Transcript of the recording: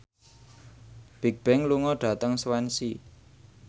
Bigbang lunga dhateng Swansea